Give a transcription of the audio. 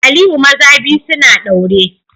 Aliyu maza biyu suna daure